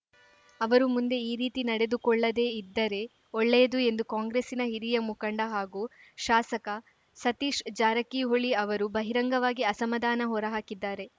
ಅವರು ಮುಂದೆ ಈ ರೀತಿ ನಡೆದುಕೊಳ್ಳದೆ ಇದ್ದರೆ ಒಳ್ಳೆಯದು ಎಂದು ಕಾಂಗ್ರೆಸ್ಸಿನ ಹಿರಿಯ ಮುಖಂಡ ಹಾಗೂ ಶಾಸಕ ಸತೀಶ್‌ ಜಾರಕಿಹೊಳಿ ಅವರು ಬಹಿರಂಗವಾಗಿ ಅಸಮಾಧಾನ ಹೊರಹಾಕಿದ್ದಾರೆ